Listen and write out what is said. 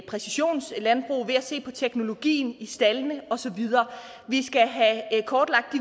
præcisionslandbrug ved at se på teknologien i staldene og så videre vi skal have kortlagt